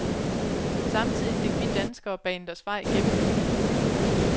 Samtidig fik vi danskere banet os vej gennem mængden.